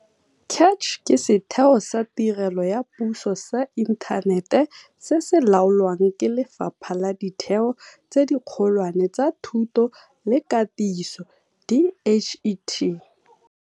CACH ke setheo sa tirelo ya puso sa inthanete se se laolwang ke Lefapha la Ditheo tse Dikgolwane tsa Thuto le Katiso, DHET.